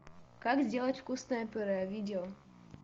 как сделать вкусное пюре видео